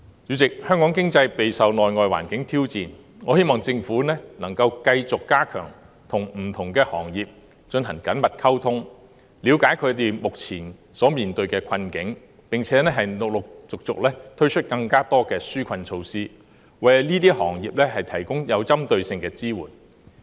主席，香港經濟備受內外環境挑戰，我希望政府能夠繼續加強與不同行業進行緊密溝通，了解他們目前面對的困境，並陸續推出更多紓困措施，為這些行業提供針對性的支援。